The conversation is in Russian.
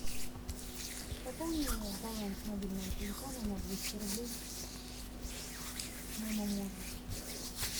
пополни баланс мобильного телефона на двести рублей моему мужу